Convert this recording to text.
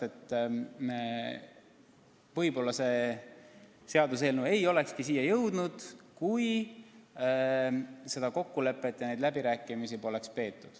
Võib-olla see seaduseelnõu ei olekski siia jõudnud, kui seda kokkulepet poleks ja neid läbirääkimisi poleks peetud.